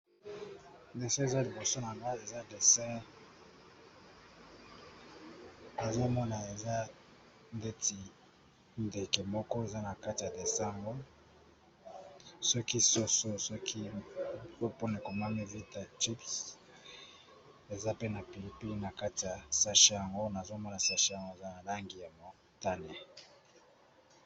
Dessin eza liboso na base eza desert azomona eza ndeti ndeke moko eza na kati ya desemgo soki soso soki epone komami vita chips eza pe na pilipie na kati ya sashi yango nazomona sashi yango eza na langi ya motane.